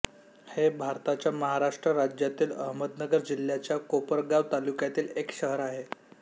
हे भारताच्या महाराष्ट्र राज्यातील अहमदनगर जिल्ह्याच्या कोपरगाव तालुक्यातील एक शहर आहे